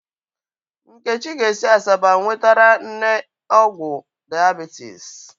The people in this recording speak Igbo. Nkechi ga-esi Asaba nwetara nne ọgwụ diabetes.